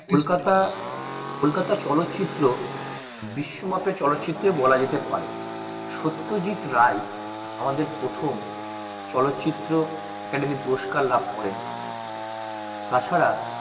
কলকাতা কলকাতা চলো চিত্র বিশ্বমাপের চলো চিত্র বলাযেতে পারে সত্যজিৎ রাই আমাদের প্রথম চলো চিত্র academy পুরস্কার লাব করে তাছাড়া